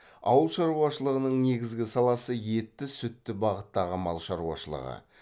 ауыл шаруашылығының негізгі саласы етті сүтті бағыттағы мал шаруашылығы